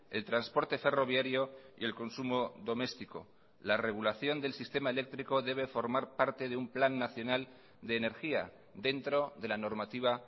el transporte ferroviario y el consumo doméstico la regulación del sistema eléctrico debe formar parte de un plan nacional de energía dentro de la normativa